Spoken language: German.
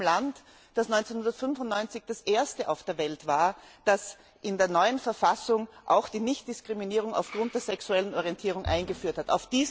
Das geschieht in einem Land, das 1995 das erste auf der Welt war, das in seiner neuen Verfassung auch die Nichtdiskriminierung aufgrund der sexuellen Orientierung eingeführt hat.